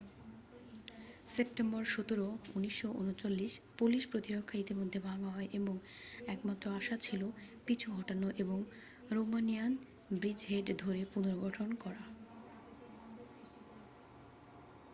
September 17 1939 Polish প্রতিরক্ষা ইতিমধ্যে ভাঙ্গা হয় এবং একমাত্র আশা ছিল পিছু হটানো এবং রোমানিয়ান ব্রিজহেড ধরে পুনর্গঠন করা